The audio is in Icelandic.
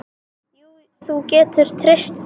Jú, þú getur treyst því.